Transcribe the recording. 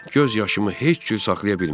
Göz yaşımı heç cür saxlaya bilmirdim.